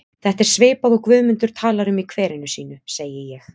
Þetta er svipað og Guðmundur talar um í kverinu sínu, segi ég.